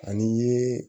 Ani i ye